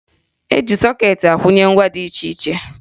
E ji sọkeetị akwụnye ngwa dị iche iche